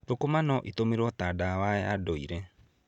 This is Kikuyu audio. Thũkũma no itũmĩrwo ta ndawa ya ndũire.